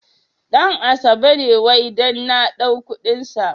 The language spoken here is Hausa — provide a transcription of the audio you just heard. Ɗan asabe ne wai dan na ɗau kuɗin sa.